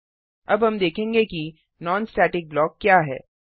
httpwwwspoken tutorialओआरजी अब हम देखेंगे कि नॉन स्टेटिक ब्लॉक क्या है